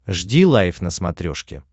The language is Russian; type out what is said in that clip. жди лайв на смотрешке